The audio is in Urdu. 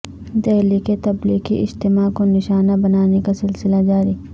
دہلی کے تبلیغی اجتماع کو نشانہ بنانے کا سلسلہ جاری